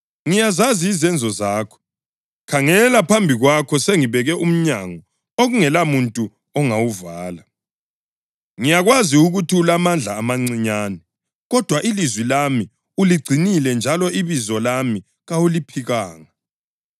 Ngiyazazi izenzo zakho. Khangela phambi kwakho sengibeke umnyango okungelamuntu ongawuvala. Ngiyakwazi ukuthi ulamandla amancinyane, kodwa ilizwi lami uligcinile njalo ibizo lami kawuliphikanga.